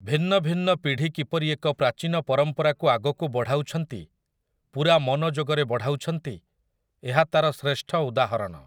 ଭିନ୍ନ ଭିନ୍ନ ପିଢ଼ି କିପରି ଏକ ପ୍ରାଚୀନ ପରମ୍ପରାକୁ ଆଗକୁ ବଢ଼ାଉଛନ୍ତି, ପୂରା ମନୋଯୋଗରେ ବଢ଼ାଉଛନ୍ତି, ଏହା ତାର ଶ୍ରେଷ୍ଠ ଉଦାହରଣ ।